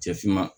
Cɛ finman